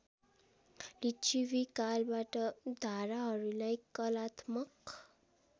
लिच्छविकालबाट धाराहरूलाई कलात्मक